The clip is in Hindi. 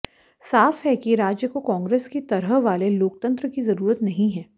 साफ है कि राज्य को कांग्रेस की तरह वाले लोकतंत्र की जरूरत नहीं है